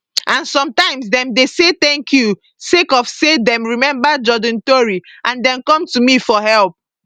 and sometimes dem dey say thank you sake of say dem remember jordan tori and dem come to me for help